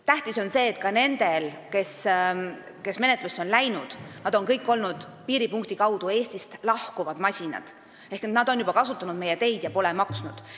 Tähtis on see, et need, kelle suhtes on menetlus algatatud, on kõik olnud piiripunkti kaudu Eestist lahkuvad masinad, st nad on juba kasutanud meie teid ja pole maksnud.